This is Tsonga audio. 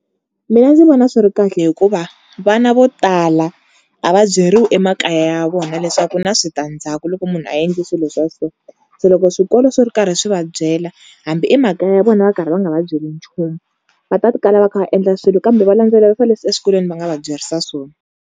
Mina ndzi vona swi ri kahle hikuva vana vo tala a va byeriwi emakaya ya vona leswaku ku na switandzhaku loko munhu a endli swilo swa so. Se loko swikolo swi ri karhi swi va byela hambi emakaya ya vona va karhi va nga va byeli nchumu va ta kala va kha va endla swilo kambe va landzelerisa leswi eswikolweni va nga va byerisa swona.